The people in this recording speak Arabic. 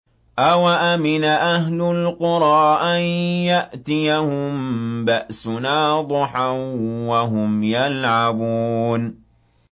أَوَأَمِنَ أَهْلُ الْقُرَىٰ أَن يَأْتِيَهُم بَأْسُنَا ضُحًى وَهُمْ يَلْعَبُونَ